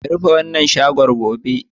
Ka rufe wannan shagon, gobe!